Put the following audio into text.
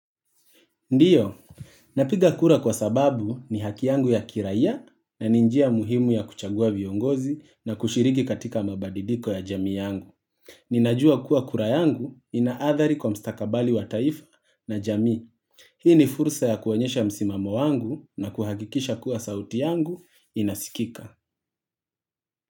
Ndiyo, napiga kura kwa sababu ni haki yangu ya kiraia na ni njia muhimu ya kuchagua viongozi na kushiriki katika mabadiliko ya jami yangu. Ninajua kuwa kura yangu ina athari kwa mstakabali wa taifa na jamii. Hii ni fursa ya kuonyesha msimamo wangu na kuhahikisha kuwa sauti yangu inasikika.